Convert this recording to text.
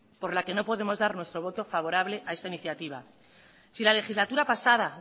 por la que no podemos dar nuestro voto favorable a esta iniciativa si la legislatura pasada